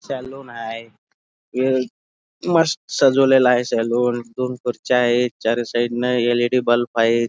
Salon आहे मस्त सजवलेल आहे सलून दोन खुर्च्या आहेत चारी साइड नि एल. इ. डी. बल्ब हायेत.